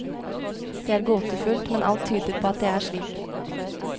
Det er gåtefullt, men alt tyder på at det er slik.